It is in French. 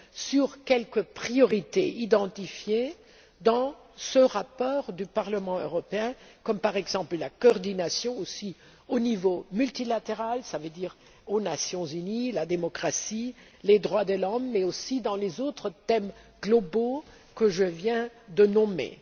sur quelques priorités identifiées dans le rapport du Parlement européen, comme par exemple la coordination au niveau multilatéral, ce qui veut dire aux Nations unies aussi, la démocratie, les droits de l'homme ou les autres thèmes globaux que je viens de nommer.